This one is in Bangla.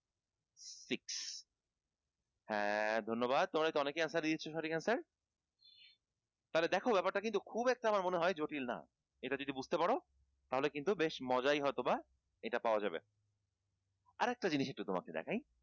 হ্যাঁ ধন্যবাদ তোমরা তো অনেকেই answer দিয়েছ সঠিক answer তাহলে দেখ ব্যাপারটা কিন্তু খুব একটা আমার মনে হয় জটিল না এটা যদি বুঝতে পার তাহলে কিন্তু বেশ মজাই হয়ত বা এটা পাওয়া যাবে আরেকটা জিনিস একটু তোমাকে দেখাই